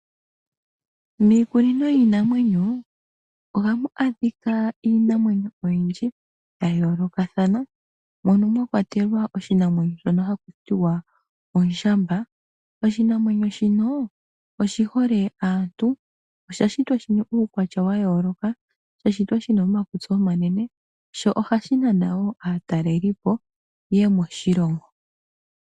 Miikunino yiinamwenyo ohamu adhika iinamwenyo oyindji ya yoolokathana, mono mwa kwatelwa oshinamwemyo shono haku tiwa ondjamba. Oshinamwenyo shino oshihole aantu. Osha shitwa shina uukwatya wa yooloka, sha shitwa shina omakutsi omanene sho ohashi nana wo aataleli po yeye moshilongo.